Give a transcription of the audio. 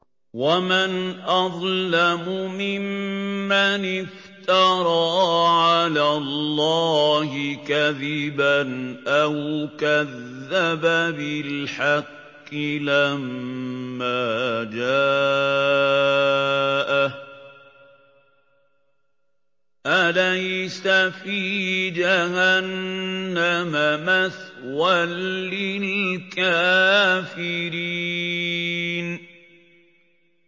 وَمَنْ أَظْلَمُ مِمَّنِ افْتَرَىٰ عَلَى اللَّهِ كَذِبًا أَوْ كَذَّبَ بِالْحَقِّ لَمَّا جَاءَهُ ۚ أَلَيْسَ فِي جَهَنَّمَ مَثْوًى لِّلْكَافِرِينَ